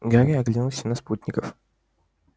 гарри оглянулся на спутников